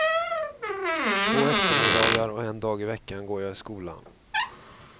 Två eftermiddagar och en dag i veckan går jag i skolan.